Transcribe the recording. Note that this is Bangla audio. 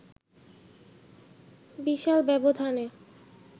বিশাল ব্যবধানে